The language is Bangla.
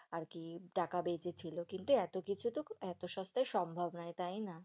আর কি টাকা বেঁচেছিল, কিন্তু এতকিছু তো এত সস্তায় সম্ভব নয় তাই না?